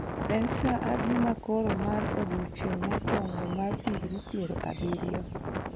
En saa adi ma koro marn odiechieng' mokwongo mar digrii piero abirio